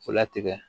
Latigɛ